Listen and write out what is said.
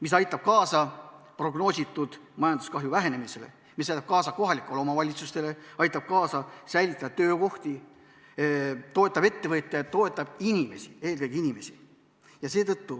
See aitab kaasa prognoositud majanduskahju vähenemisele, see aitab kohalikke omavalitsusi, aitab säilitada töökohti, toetab ettevõtjaid, toetab inimesi – eelkõige inimesi.